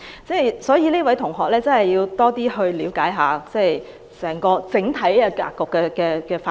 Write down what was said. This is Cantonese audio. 這位同學要多了解一下整體格局的發展。